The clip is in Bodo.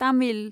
तामिल